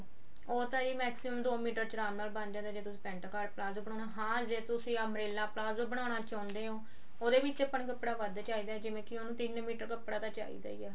ਉਹ ਤਾਂ maximum ਦੋ ਮੀਟਰ ਚ ਆਰਾਮ ਨਾਲ ਬਣ ਜਾਂਦਾ ਜੇ ਤੁਸੀਂ pent cart ਪਲਾਜ਼ੋ ਬਨਾਣਾ ਹਾਂ ਜੇ ਤੁਸੀਂ umbrella ਪਲਾਜ਼ੋ ਬਨਾਣਾ ਚਾਹੁੰਦੇ ਓ ਉਹਦੇ ਵਿੱਚ ਆਪਾਂ ਨੂੰ ਕੱਪੜਾ ਵੱਧ ਚਾਹਿਦਾ ਜਿਵੇਂ ਕਿ ਉਹਨੂੰ ਤਿੰਨ ਮੀਟਰ ਕੱਪੜਾ ਤਾਂ ਚਾਹਿਦਾ ਹੀ ਏ